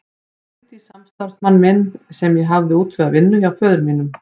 Ég hringdi í samstarfsmann minn sem ég hafði útvegað vinnu hjá föður mínum.